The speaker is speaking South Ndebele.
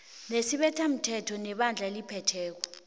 nesibethamthetho nebandla eliphetheko